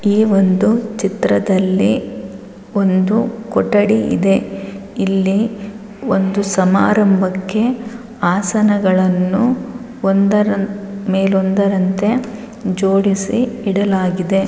ಈ ಒಂದು ಚಿತ್ರದಲ್ಲಿ ಒಂದು ಕೊಠಡಿ ಇದೆ. ಇಲ್ಲಿ ಒಂದು ಸಮಾರಂಭಕ್ಕೆ ಆಸನಗಳನ್ನು ಒಂದರ ಮೇಲೆ ಒಂದರಂತೆ ಜೋಡಿಸಿ ಇಡಲಾಗಿದೆ.